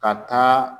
Ka taa